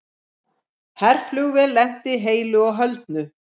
Herflugvél lenti heilu og höldnu